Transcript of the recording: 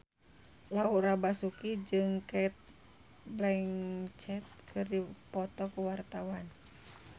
Laura Basuki jeung Cate Blanchett keur dipoto ku wartawan